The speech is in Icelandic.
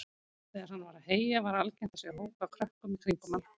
Þegar hann var að heyja var algengt að sjá hóp af krökkum í kringum hann.